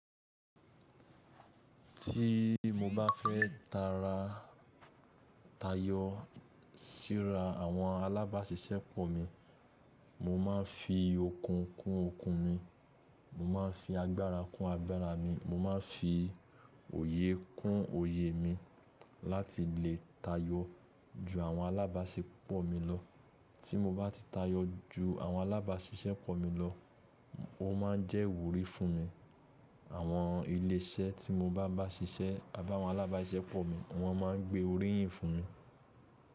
Tí mo bá fẹ́ tara tayọ síra àwọn alábáṣiṣẹ́pọ̀ mi, mo máa ń fi okùn kún okùn mi, mo máa ń fi agbára kún agbára mi, mo máa ń fi òye kún òye mi láti lè tayọ ju àwọn alábáṣepọ̀ mi lọ. Tí mo bá ti tayọ ju àwọn alábáṣiṣẹ́pọ̀ mi lọ, ó ma ń jẹ́ ìwúrí fún mi. Àwọn ilé iṣẹ́ tí mo bá bá ṣiṣẹ́ abá'wọn alábáṣiṣẹ́pọ̀ mi, wọ́n ma ń gbé oríyìn fún mi.